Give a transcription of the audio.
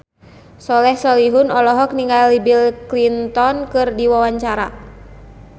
Soleh Solihun olohok ningali Bill Clinton keur diwawancara